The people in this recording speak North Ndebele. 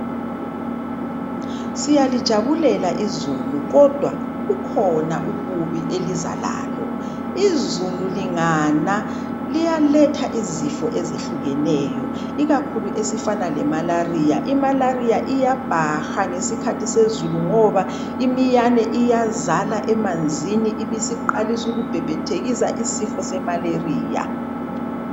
Siyalijabulela izulu kodwa kukhona ububi eliza lalo. Izulu lingana liyaletha izifo ezihlukeneyo ikakhulu esifana lemalaria. Imalaria iyabhaha ngesikhathi sezulu ngoba imiyane iyazala emanzini ibisiqalisa ukubhebhethekisa isifo semalaria.